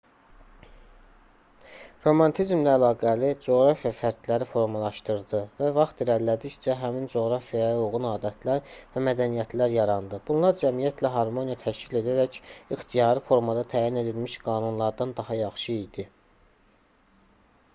romantizmlə əlaqəli coğrafiya fərdləri formalaşdırdı və vaxt irəlilədikcə həmin coğrafiyaya uyğun adətlər və mədəniyyətlər yarandı bunlar cəmiyyətlə harmoniya təşkil edərək ixtiyari formada təyin edilmiş qanunlardan daha yaxşı idi